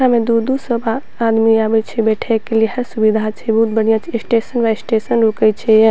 एकरा में दूर-दूर स बा आदमी आबे छे बैठे के लिए हर सुविधा छे बहुत बढ़िया छे स्टेशन बाय स्टेशन रुके छे ये।